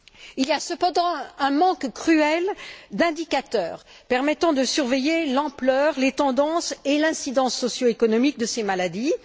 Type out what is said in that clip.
Il y a cependant un manque cruel d'indicateurs permettant de surveiller l'ampleur, les tendances et l'incidence socio économique de ces maladies.